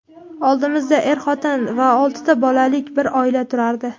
Oldimizda er-xotin va olti bolalik bir oila turardi.